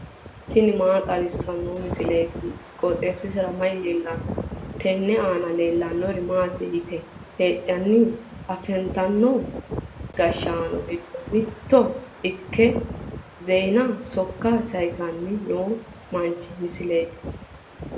tini maa xawissanno misileeti? qooxeessisera may leellanno? tenne aana leellannori maati yitine heddinanni? afantino gashshaano giddo mitto ikke zeenaho sokka sayiisanni noo manchi misileeti.